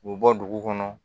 K'u bɔ dugu kɔnɔ